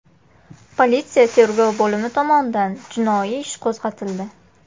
Politsiya tergov bo‘limi tomonidan jinoiy ish qo‘zg‘atildi.